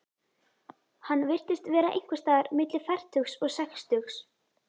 Hann virtist vera einhvers staðar milli fertugs og sextugs.